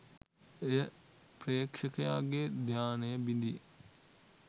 එය ප්‍රේක්ෂකයාගේ ධ්‍යානය බිඳී